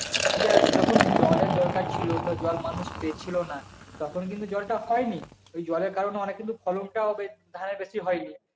দেখ যখন জলের দরকার ছিল তো জল মানুষ পেয়েছিলো না তখন কিন্তু জলটা হয়নি আর ওই জলের কারণে অনেক কিন্তু ফলনটাও বেশ ধানের বেশি হয়নি